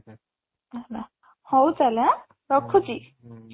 ହେଲା ହଉ ତାହେଲେ ଆଁ ରଖୁଛି